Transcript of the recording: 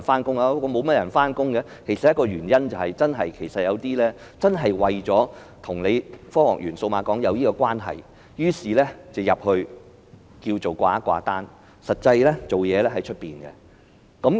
造成這個現象的其中一個原因是，有些公司為了與科學園或數碼港扯上關係，於是便在那裏"掛單"，實際上則在外面運作。